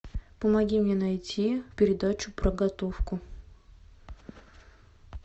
помоги мне найти передачу про готовку